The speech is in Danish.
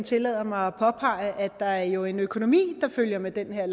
tillader mig at påpege at der jo er en økonomi der følger med den her